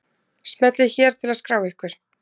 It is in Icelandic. Smellið hér til að skrá ykkur.